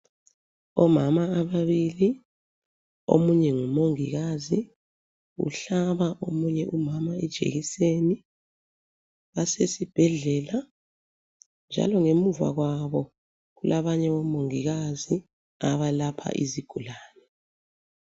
Omama ababili, omunye ngumongikazi. Uhlaba omunye umama ijekiseni. Basesibhedlela njalo ngemuva kwabo kulabanye omongikazi abalapha izigulane.